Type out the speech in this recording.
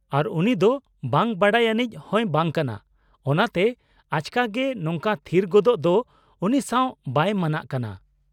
-ᱟᱨ ᱩᱱᱤ ᱫᱚ ᱵᱟᱝ ᱵᱟᱰᱟᱭᱟᱱᱤᱡ ᱦᱚᱸᱭ ᱵᱟᱝ ᱠᱟᱱᱟ, ᱚᱱᱟᱛᱮ ᱟᱪᱠᱟᱜᱮ ᱱᱚᱝᱠᱟ ᱛᱷᱤᱨ ᱜᱚᱫᱚᱜ ᱫᱚ ᱩᱱᱤ ᱥᱟᱶ ᱵᱟᱭ ᱢᱟᱱᱟᱜ ᱠᱟᱱᱟ ᱾